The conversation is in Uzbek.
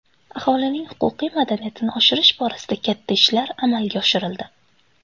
Aholining huquqiy madaniyatini oshirish borasida katta ishlar amalga oshirildi.